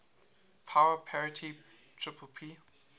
power parity ppp